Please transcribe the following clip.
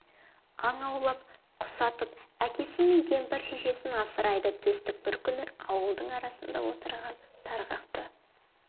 аң аулап құс атып әкесі мен кемпір шешесін асырайды төстік бір күні ауылдың арасында отырған тарғақты